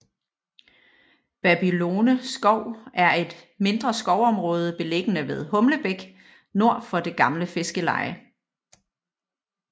Babylone skov er et mindre skovområde beliggende ved Humlebæk nord for det gamle fiskerleje